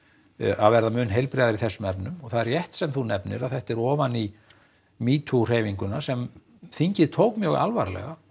að verða mun heilbrigðari í þessum efnum og það er rétt sem þú nefnir að þetta er ofan í metoo hreyfinguna sem þingið tók mjög alvarlega og